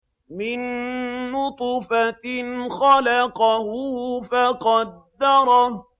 مِن نُّطْفَةٍ خَلَقَهُ فَقَدَّرَهُ